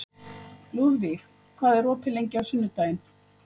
Lúðvíg, hvað er opið lengi á sunnudaginn?